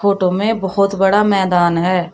में बहुत बड़ा मैदान है।